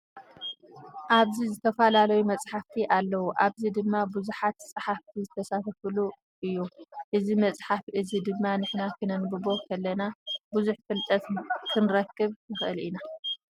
ኣብዚ ዝተፈላለዩ መፅሓፍቲ ኣለዉ። ኣብዚ ድማ ቡዙሓት ፀሓፍቲ ዝተሳተፍሉ እዩ። እዚ መፅሓፈ እዚ ድማ ንሕና ክነንብቦ ከለና ቡዙሕ ፍልጠት ክንረክብ ንክእል ኢና።